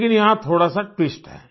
लेकिन यहाँ थोड़ासा ट्विस्ट है